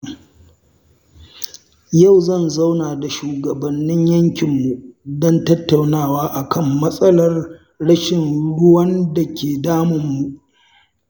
Yau zan zauna da shugabannin yankinmu don tattaunawa akan matsalar rashin ruwan da ke damunmu.